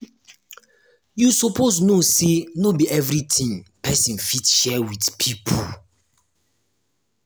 you suppose know sey no be everytin pesin fit share wit pipo.